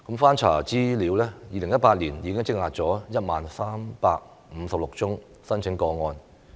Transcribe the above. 翻查資料 ，2018 年已積壓 10,356 宗申請個案。